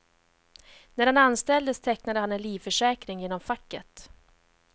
När han anställdes tecknade han en livförsäkring genom facket.